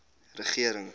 regering